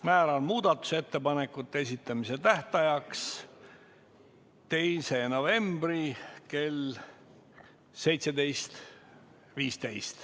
Määran muudatusettepanekute esitamise tähtajaks 2. novembri kell 17.15.